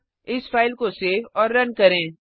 अब इस फाइल को सेव और रन करें